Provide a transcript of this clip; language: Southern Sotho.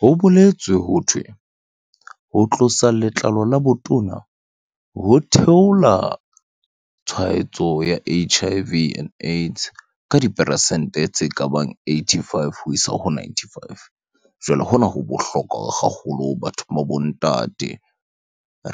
Ho boletswe hothwe, ho tlosa letlalo la botona ho theola tshwaetso ya H_I_V and AIDS ka diperesente tse kabang eighty-five ho isa ho ninety-five. Jwale hona ho bohlokwa haholo bathong ba bo ntate.